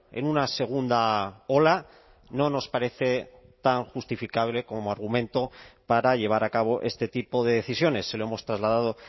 en una segunda ola no nos parece tan justificable como argumento para llevar a cabo este tipo de decisiones se lo hemos trasladado